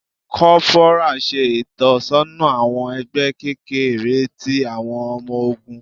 Corporal ṣe itọsọna awọn ẹgbẹ kekere ti awọn ọmọ ogun.